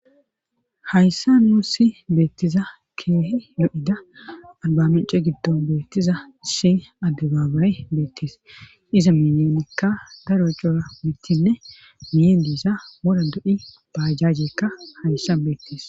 hayssa muussi beettiza keehi do7ida albamece giddon beettiza si adde baabae beettis iza minenekka daro cora mittinne miyeen do7isa woda do7i baajajekka hayssan beettis.